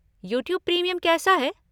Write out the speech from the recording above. YouTube premium कैसा है?